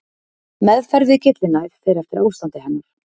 Meðferð við gyllinæð fer eftir ástandi hennar.